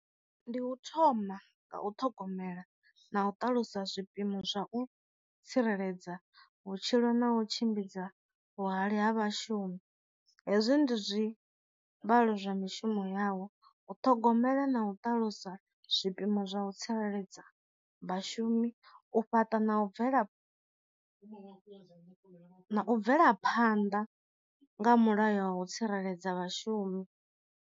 Ndi u thoma nga u ṱhogomela na u ṱalusa zwi phimo zwa u tsireledza vhutshilo na u tshimbidza vhuhali ha vhashumi, hezwi ndi zwi vhalo zwa mishumo yavho u ṱhogomela na u ṱalusa zwi pimo zwa u tsireledza vhashumi, u fhaṱa na u bvela na u bvela phanḓa nga mulayo wa u tsireledza vhashumi.